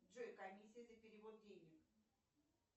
джой комиссия за перевод денег